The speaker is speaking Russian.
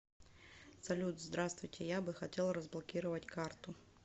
салют здравствуйте я бы хотел разблокировать карту